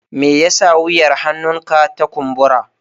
Me yasa wuyar hannunka ta kumbura?